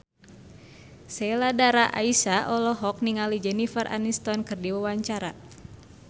Sheila Dara Aisha olohok ningali Jennifer Aniston keur diwawancara